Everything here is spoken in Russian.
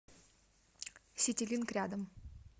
ситилинк рядом